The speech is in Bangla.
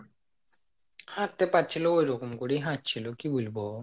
হাঁটতে পারছিল ঐরকম করেই হাঁটছিল কি বুলব